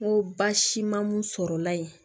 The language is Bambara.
N ko baasi ma mun sɔrɔ la yen